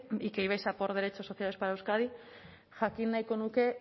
y que ibais a por derechos sociales para euskadi jakin nahiko nuke